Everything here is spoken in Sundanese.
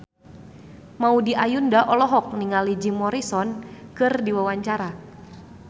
Maudy Ayunda olohok ningali Jim Morrison keur diwawancara